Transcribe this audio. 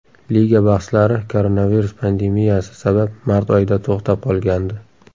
Liga bahslari koronavirus pandemiyasi sabab mart oyida to‘xtab qolgandi.